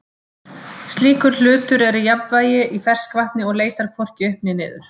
Slíkur hlutur er í jafnvægi í ferskvatni og leitar hvorki upp né niður.